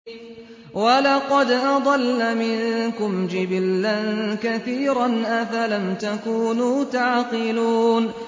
وَلَقَدْ أَضَلَّ مِنكُمْ جِبِلًّا كَثِيرًا ۖ أَفَلَمْ تَكُونُوا تَعْقِلُونَ